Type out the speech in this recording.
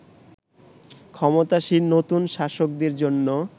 ক্ষমতাসীন নতুন শাসকদের জন্য